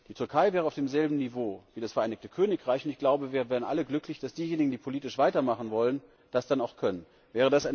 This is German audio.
Die Türkei wäre auf demselben Niveau wie das Vereinigte Königreich, und ich glaube, wir wären alle glücklich, dass diejenigen, die politisch weitermachen wollen, das dann auch tun können.